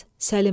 Səlim!